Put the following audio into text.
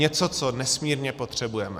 Něco, co nesmírně potřebujeme.